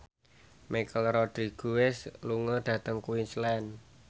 Michelle Rodriguez lunga dhateng Queensland